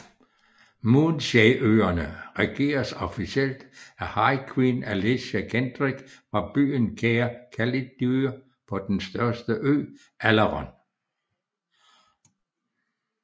Moonshae øerne regeres officielt af High Queen Alicia Kendrick fra byen Caer Calidyrr på den største ø Alaron